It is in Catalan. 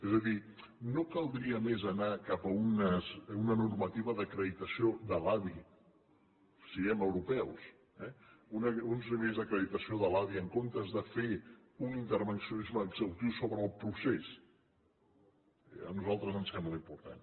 és a dir no caldria més anar cap a una normativa d’acreditació de l’adi siguem europeus eh uns nivells d’acreditació de l’adi en comptes de fer un intervencionisme exhaustiu sobre el procés a nosaltres ens sembla important